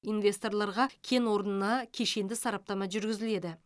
инвесторларға кен орнына кешенді сараптама жүргізіледі